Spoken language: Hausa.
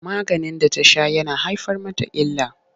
Maganin da ta sha yana haifar mata illa.